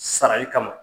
Sarali kama